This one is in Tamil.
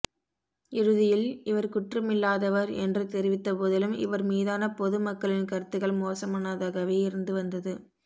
இறுதியில் இவர் குற்றமில்லாதவர் என்று தெரிவித்த போதிலும் இவர் மீதான பொது மக்களின் கருத்துகள் மோசமானதாகவே இருந்து வந்தது